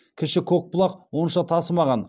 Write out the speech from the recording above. кіші көкбұлақ онша тасымаған